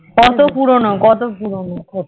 কত পুরোনো